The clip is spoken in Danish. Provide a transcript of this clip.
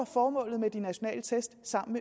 formålet med de nationale test sammen